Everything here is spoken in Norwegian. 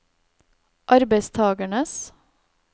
arbeidstakernes